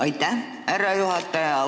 Aitäh, härra juhataja!